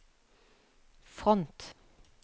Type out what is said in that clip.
front